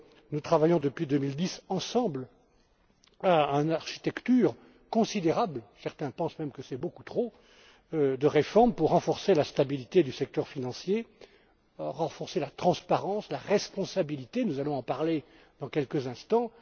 Nous travaillons ensemble, depuis 2010, à une architecture considérable certains pensent même que c'est beaucoup trop de réformes pour renforcer la stabilité du secteur financier, la transparence, la responsabilité nous allons en parler dans quelques instants.